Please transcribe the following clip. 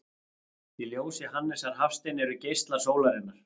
Í ljóði Hannesar Hafstein eru geislar sólarinnar